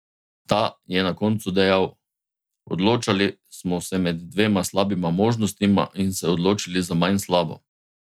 Ta je na koncu dejal: "Odločali smo se med dvema slabima možnostma in se odločili za manj slabo.